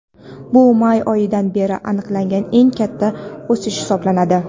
Bu may oyidan beri aniqlangan eng katta o‘sish hisoblanadi.